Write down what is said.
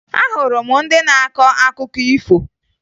Ahụrụ m ndị na-akọ akụkọ ifo